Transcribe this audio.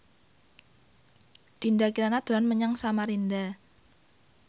Dinda Kirana dolan menyang Samarinda